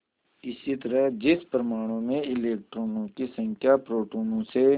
इसी तरह जिस परमाणु में इलेक्ट्रॉनों की संख्या प्रोटोनों से